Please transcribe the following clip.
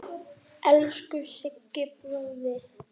Elsku Siggi bróðir.